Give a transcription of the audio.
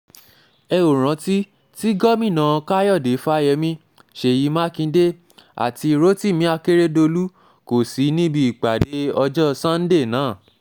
ẹ óò rántí tí gómìnà um káyọ̀dé fáyemí ṣèyí mákindè àti rotimi akerédọ́lù kò sí níbi ìpàdé ọjọ́ sànńdẹ náà um